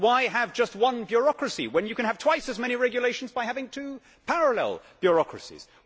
Why have just one bureaucracy when you can have twice as many regulations by having two parallel bureaucracies?